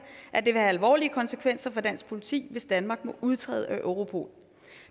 at det vil have alvorlige konsekvenser for dansk politi hvis danmark må udtræde af europol